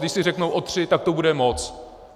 Když si řeknou o tři, tak to bude moc.